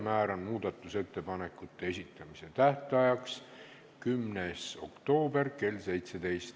Määran muudatusettepanekute esitamise tähtajaks 10. oktoobri kell 17.